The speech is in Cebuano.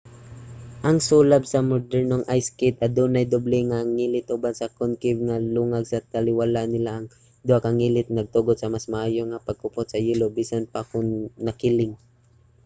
ang sulab sa modernong ice skate adunay doble nga ngilit uban sa concave nga lungag sa taliwala nila. ang duha ka ngilit nagtugot sa mas maayo nga pagkupot sa yelo bisan pa kon nakiling